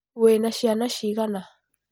Wĩna ciana cigana?